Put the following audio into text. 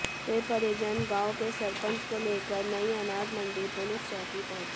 फिर परिजन गांव के सरपंच को लेकर नयी अनाज मंडी पुलिस चौकी पहुंचे